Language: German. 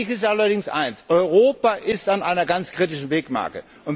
Wichtig ist allerdings eines Europa ist an einer ausgesprochen kritischen Wegmarke.